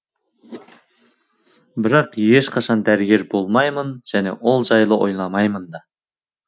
бірақ ешқашан дәрігер болмаймын және ол жайлы ойламаймын да